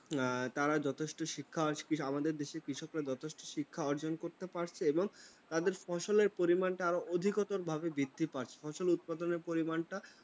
তাঁরা যথেষ্ট শিক্ষা আছে। আমাদের দেশের কৃষকরা যথেষ্ট শিক্ষা অর্জন করতে পারছে এবং তাদের ফসলের পরিমাণটা আরও অধিকতর ভাবে বৃদ্ধি পাচ্ছে। ফসল উৎপাদনের পরিমাণটা